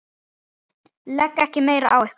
Legg ekki meira á ykkur!